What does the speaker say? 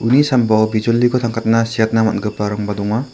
uni sambao bijoliko tangkatna siatna man·giparangba donga.